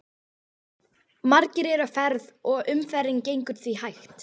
Margir eru á ferð og umferðin gengur því hægt.